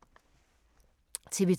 TV 2